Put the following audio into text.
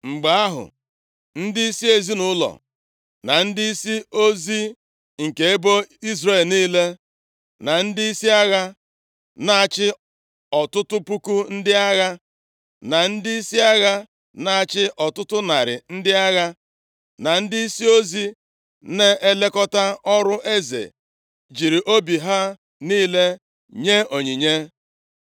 Mgbe ahụ, ndịisi ezinaụlọ, na ndịisi ozi nke ebo Izrel niile, na ndịisi agha na-achị ọtụtụ puku ndị agha, na ndịisi agha na-achị ọtụtụ narị ndị agha, na ndịisi ozi na-elekọta ọrụ eze, jiri obi ha niile nye onyinye.